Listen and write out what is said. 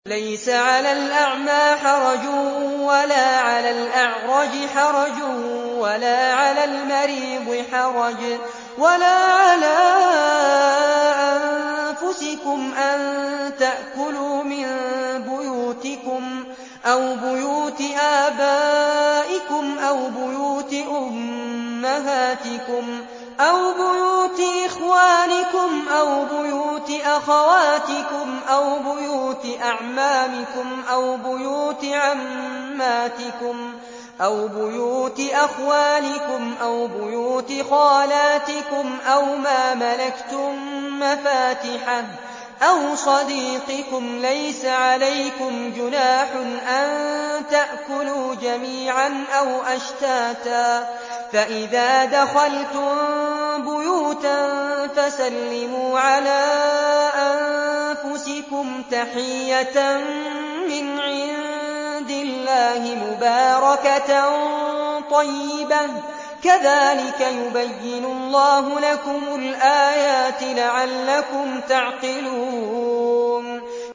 لَّيْسَ عَلَى الْأَعْمَىٰ حَرَجٌ وَلَا عَلَى الْأَعْرَجِ حَرَجٌ وَلَا عَلَى الْمَرِيضِ حَرَجٌ وَلَا عَلَىٰ أَنفُسِكُمْ أَن تَأْكُلُوا مِن بُيُوتِكُمْ أَوْ بُيُوتِ آبَائِكُمْ أَوْ بُيُوتِ أُمَّهَاتِكُمْ أَوْ بُيُوتِ إِخْوَانِكُمْ أَوْ بُيُوتِ أَخَوَاتِكُمْ أَوْ بُيُوتِ أَعْمَامِكُمْ أَوْ بُيُوتِ عَمَّاتِكُمْ أَوْ بُيُوتِ أَخْوَالِكُمْ أَوْ بُيُوتِ خَالَاتِكُمْ أَوْ مَا مَلَكْتُم مَّفَاتِحَهُ أَوْ صَدِيقِكُمْ ۚ لَيْسَ عَلَيْكُمْ جُنَاحٌ أَن تَأْكُلُوا جَمِيعًا أَوْ أَشْتَاتًا ۚ فَإِذَا دَخَلْتُم بُيُوتًا فَسَلِّمُوا عَلَىٰ أَنفُسِكُمْ تَحِيَّةً مِّنْ عِندِ اللَّهِ مُبَارَكَةً طَيِّبَةً ۚ كَذَٰلِكَ يُبَيِّنُ اللَّهُ لَكُمُ الْآيَاتِ لَعَلَّكُمْ تَعْقِلُونَ